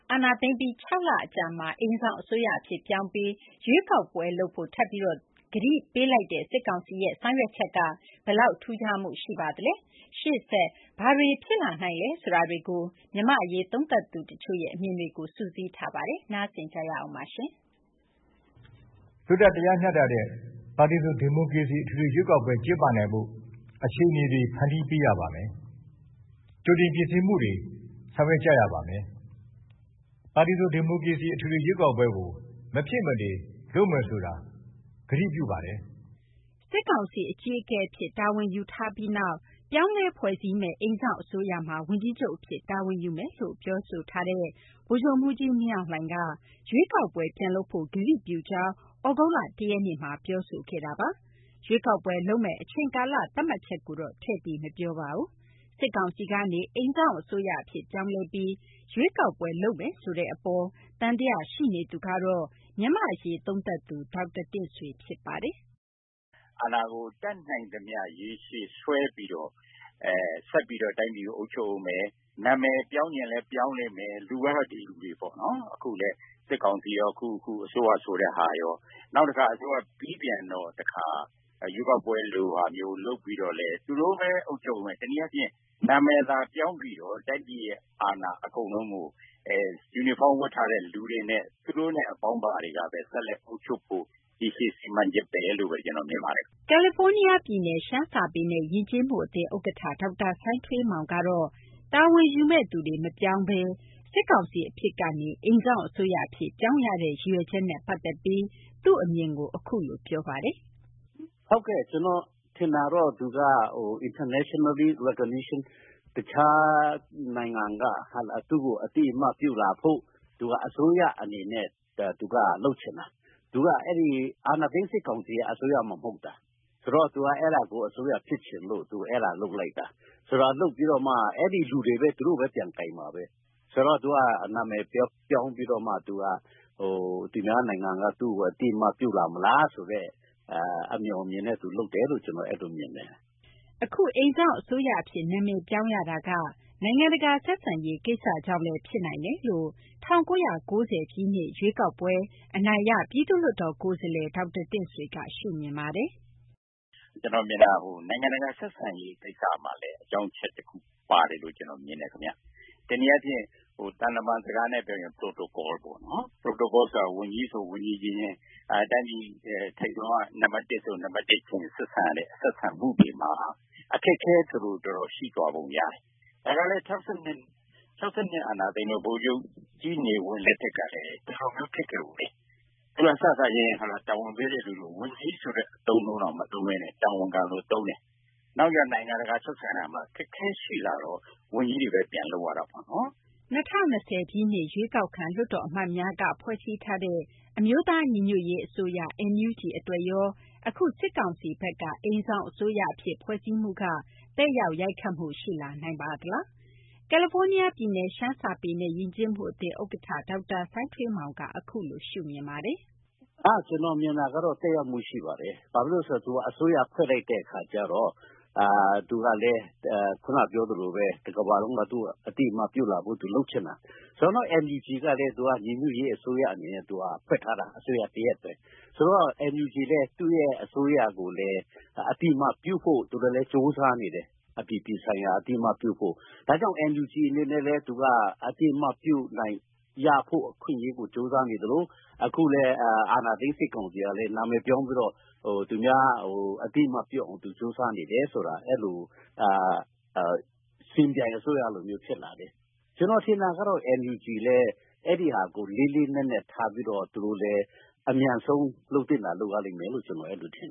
အာဏာသိမ်းပြီးနောက် ၆ လ အကြာမှာ အိမ်စောင့် အစိုးရ အဖြစ် ပြောင်းပြီး ရွေးကောက်ပွဲ ကျင်းပဖို့ ထပ်ပြီး ကတိကဝတ် ပြုလိုက်တဲ့ စစ်ကောင်စီရဲ့ ဆောင်ရွက်ချက်ဟာ ဘယ်လောက် ထူးခြားမှု ရှိပါသလဲ ရှေ့ဆက် ဘာတွေ ဖြစ်လာနိုင်သလဲ ဆိုတာကို မြန်မာ့ အရေး သုံးသပ်သူ တချို့ကို မသိင်္ဂ ီထိုက် ဆက်သွယ်မေးမြန်းထားပါတယ်။ “ လွတ်လပ် တရားမျှတတဲ့ ပါတီစုံ ဒီမိုကရေစီ အထွေထွေ ရွေးကောက်ပွဲ ကျင်းပနိုင်ဖို့ အခြေအနေတွေ ဖန်တီးပေးရပါမယ်။ ကြိုတင် ပြင်ဆင်မှုတွေ ဆောင်ရွက်ကြရပါမယ်။ ပါတီစုံ ဒီမိုကရေစီ ရွေးကောက်ပွဲကို မဖြစ်မနေ လုပ်မယ်ဆိုတာ ကတိပြုပါတယ်။ ” စစ်ကောင်စီ အကြီးအကဲ အဖြစ် တာဝန်ယူထားပြီးနောက် ပြောင်းလဲဖွဲ့စည်းမယ့် အိမ်စောင့် အစိုးရမှာ ဝန်ကြီးချုပ် အဖြစ်တာဝန်ယူမယ်လို့ ပြောဆိုထားတဲ့ ဗိုလ်ချုပ်မှူးကြီး မင်းအောင်လှိုင်က ရွေးကောက်ပွဲ ပြန်လုပ်ဖို့ ကတိပြုကြောင်း သြဂုတ်လ ၁ ရက်နေ့မှာ ပြောဆိုခဲ့တာပါ။ ရွေးကောက်ပွဲ လုပ်မယ့် အချိန်ကာလ သတ်မှတ်ချက်တော့ ထည့်ပြီး မပြောပါဘူး။ စစ်ကောင်စီကနေ အိမ်စောင့်အစိုးရ အဖြစ်ပြောင်းလဲပြီး ရွေးကောက်ပွဲ လုပ်မယ်ဆိုတဲ့ အပေါ် သံသယ ရှိနေသူကတော့ မြန်မာ့ အရေး သုံးသပ်သူ ဒေါက်တာ တင့်ဆွေ ဖြစ်ပါတယ်။ “ အာဏာကို တတ်နိုင်သမျှ ရေရှည်ဆွဲပြီးတော့ ဆက်ပြီးတော့ တိုင်းပြည်ကို အုပ်ချုပ်ဦးမယ်။ နာမည် ပြောင်းချင်လည်း ပြောင်းလိမ့်ဦးမယ်။ လူကတော့ ဒီလူတွေ ပေါ့နော်။ စစ်ကောင်စီရော အခု အစိုးရ ဆိုတဲ့ဟာရော။ နောက်တခါ ပြီးပြန်တော့ ရွေးကောက်ပွဲ ဆိုတဲ့ဟာ လုပ်ပြီး သူတို့ဘဲ အုပ်ချုပ်ဦးမယ်။ တနည်းအားဖြင့် နာမည်သာ ပြောင်းပြီးတော့ တိုင်းပြည်ရဲ့ အာဏာ အကုန်လုံးကို ယူနီဖောင်း ဝတ်ထားတဲ့ လူတွေနဲ့ သူတို့နဲ့ အပေါင်းအပါတွေက ဆက်လက် အုပ်ချုပ်ဖို့ ရေရှည် စီမံချက်ဘဲလို့ဘဲ ကျနော် မြင်ပါတယ် ခင်ဗျ။ ” ကယ်လီဖိုးနီးယားပြည်နယ် ရှမ်းစာပေနဲ့ ယဉ်ကျေးမှုအသင်း ဥက္ကဋ္ဌ ဒေါက်တာ စိုင်းထွေးမောင် ကတော့ တာဝန်ယူမယ့်သူတွေ မပြောင်းလဲ ၊ စစ်ကောင်စီ အဖြစ်ကနေ အိမ်စောင့် အစိုးရ အဖြစ် ပြောင်းရတဲ့ ရည်ရွယ်ချက်နဲ့ ပတ်သက်ပြီး သူ့အမြင်ကို အခုလို ပြောပြပါတယ်။ “ တခြားနိုင်ငံက သူ့ကို အသိအမှတ် ပြုလာဖို့ သူက အစိုးရ အနေနဲ့ လုပ်ချင်တာ။ အာဏာသိမ်း စစ်ကောင်စီက အစိုးရမှ မဟုတ်တာ။ ဆိုတော့ သူက အစိုးရ ဖြစ်ချင်လို့ သူ အစိုးရ လုပ်လိုက်တာ။ လုပ်ပြီးတော့လည်း အဲဒီ လူတွေဘဲ သူတို့ဘဲ ပြန်ကိုင်မှာဘဲ။ ဆိုတော့ သူက နာမည်ပြောင်းပြီးတော့မှ သူများနိုင်ငံက သူ့ကို အသိအမှတ်ပြုလာမလားဆိုတဲ့ အမြော်အမြင်နဲ့ လုပ်တယ်လို့ ကျနော် အဲလို မြင်တယ်။ ” အခု အိမ်စောင့် အစိုးရ အဖြစ် နာမည်ပြောင်းရတာက နိုင်ငံတကာ ဆက်ဆံရေး ကိစ္စကြောင့်လည်း ဖြစ်နိုင်တယ်လို့ ၁၉၉၀ ရွေးကောက်ပွဲ အနိုင်ရ ပြည်သူ့လွှတ်တော် ကိုယ်စားလှယ် ဒေါက်တာ တင့်ဆွေက ရှုမြင်ပါတယ်။ “ ကျနော်ထင်တာ နိုင်ငံတကာ ဆက်ဆံရေး ကိစ္စလည်း အကြောင်းချက် တခု အနေနဲ့ ပါတယ်လို့ ကျနော် မြင်တယ် ခင်ဗျ။ တနည်းအားဖြင့် သံတမန် စကားနဲ့ ပြောရင် Protocol ပေါ့နော်။ Protocol ဆိုတာ ဝန်ကြီးဆို ဝန်ကြီး အချင်းချင်း၊ တိုင်းပြည် ထိပ်ဆုံးက နံပတ် ၁ ဆိုရင် နံပတ် ၁ အချင်းချင်း ဆက်ဆံရတဲ့ ဆက်ဆံမှုတွေမှာ အခက်အခဲ တော်တော် ရှိသွားပုံ ရတယ်။ ၆၂ အာဏာသိမ်းတုန်းက ဗိုလ်ချုပ်ကြီး နေဝင်းတုန်းကလည်း ဒီလိုမျိုး ဖြစ်ခဲ့ဖူးတယ်။ သူတို့က စစချင်း တာဝန်ပေးတဲ့သူကို ဝန်ကြီး ဆိုတဲ့ အသုံးအနှုန်းတောင် မသုံးဘဲနဲ့ တာဝန်ခံလို့ သုံးတယ်။ နောက်ကျ နိုင်ငံတကာ ဆက်ဆံရာမှာ အခက်အခဲ ရှိလာတော့ ဝန်ကြီးတွေဘဲ ပြန်လုပ်ရတာပေါ့နော်။ ” ၂၀၂၀ ပြည့်နှစ် ရွေးကောက်ခံ လွှတ်တော် အမတ်များက ဖွဲ့စည်းထားတဲ့ အမျိုးသား ညီညွတ်ရေး အစိုးရ NUG အတွက်ရော အခု စစ်ကောင်စီဘက်က အိမ်စောင့် အစိုးရ အဖြစ် ဖွဲ့စည်းမှုက သက်ရောက် ရိုက်ခတ်မှု ရှိလာနိုင်ပါသလား။ ကယ်လီဖိုးနီးယားပြည်နယ် ရှမ်းစာပေနဲ့ ယဉ်ကျေးမှုအသင်း ဥက္ကဋ္ဌ ဒေါက်တာ စိုင်းထွေးမောင်က အခုလို ရှုမြင်ပါတယ်။ “ ကျနော်မြင်တာကတော့ သက်ရောက်မှု ရှိပါတယ်။ ဘာလို့လည်း ဆိုတော့ သူက အစိုးရ ဖွဲ့လိုက်တဲ့ အခါကျတော့ တကမ ္ဘာလုံးက သူ့ကို အသိအမှတ်ပြုဖို့ သူ လုပ်ချင်တာ။ ဆိုတော့ NUG ကလည်း ညီညွတ်ရေး အစိုးရ အနေနဲ့ ဖွဲ့ထားတာ အစိုးရ တရပ်ဘဲ။ ဆိုတော့ NUG လည်း သူ့ရဲ့ အစိုးရကို အသိအမှတ်ပြုဖို့ သူတို့လည်း ကြိုးစားနေတယ်။ အပြည်ပြည်ဆိုင်ရာက အသိအမှတ်ပြုဖို့။ ဒါကြောင့် NUG အနေနဲ့ အသိအမှတ်ပြုနိုင်ခွင့် ရဖို့ ကြိုးစားနေသလို အခုလည်း အာဏာသိမ်း စစ်ကောင်စီကလည်း နာမည်ပြောင်းပြီးတော့ သူများ အသိအမှတ်ပြုအောင် ကြိုးစားနေတယ်ဆိုတော့ စင်ပြိုင် အစိုးရလိုမျိုး ဖြစ်လာတယ်။ ဆိုတော့ ကျနော် ထင်တယ် NUG လည်း အဲဒါကို လေးလေးနက်နက် ထားပြီးတော့ အဲဒါကို အမြန်ဆုံး လုပ်သင့်တာ လုပ်ရလိမ့်မယ်လို့ ကျနော် အဲလို ထင်